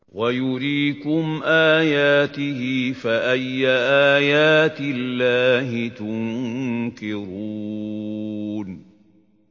وَيُرِيكُمْ آيَاتِهِ فَأَيَّ آيَاتِ اللَّهِ تُنكِرُونَ